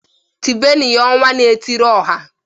Tibenu ya "Ọnwa na-etiri ọha"!